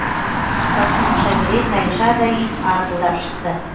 қақпасын аша бере тайыншадай ит арпылдап шықты